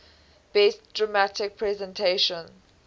best dramatic presentation